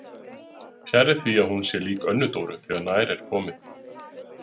Fjarri því að hún sé lík Önnu Dóru þegar nær er komið.